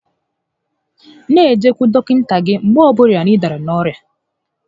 N'ejekwu dọkịta gị mgbe ọ bụla ị dàrà n'orịa